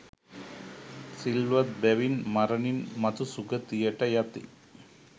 සිල්වත් බැවින් මරණින් මතු සුගතියට යති.